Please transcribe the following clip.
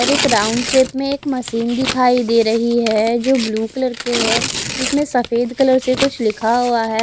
और एक round shape में एक मशीन दिखाई दे रही है जो ब्लू कलर के है इसमें सफ़ेद कलर से कुछ लिखा हुआ है।